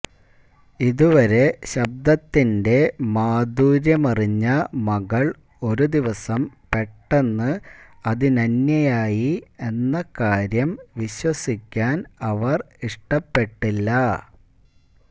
ഇതുവരെ ശബ്ദത്തിന്റെ മാധുര്യമറിഞ്ഞ മകള് ഒരു ദിവസം പെട്ടെന്ന് അതിനന്യയായി എന്ന കാര്യം വിശ്വസിക്കാന് അവര് ഇഷ്ടപ്പെട്ടില്ല